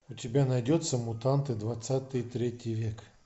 у тебя найдется мутанты двадцатый третий век